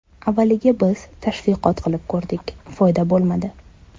Avvaliga biz tashviqot qilib ko‘rdik, foyda bo‘lmadi.